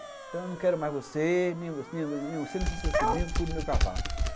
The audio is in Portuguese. Então, eu não quero mais você, você não tem o seu sobrinho, cuide do meu cavalo.